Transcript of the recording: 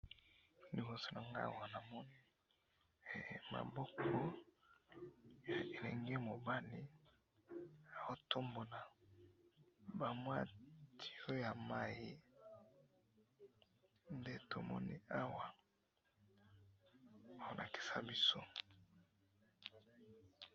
Na moni mobali aza ko tombola tuyau ya mai.